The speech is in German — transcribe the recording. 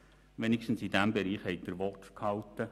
Wenigstens in diesem Bereich haben Sie Wort gehalten.